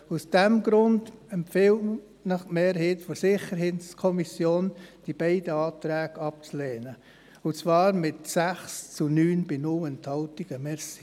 Aus diesem Grund empfiehlt Ihnen die Mehrheit der SiK, diese beiden Anträge abzulehnen, und zwar mit 6 zu 9 Stimmen bei 0 Enthaltungen.